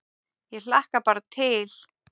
Ég hlakka bara til